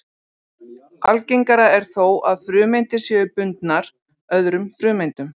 Algengara er þó að frumeindir séu bundnar öðrum frumeindum.